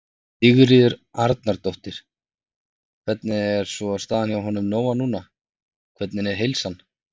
Sigríður Arnardóttir: Hvernig er svona staðan hjá honum Nóna núna, hvernig er heilsan?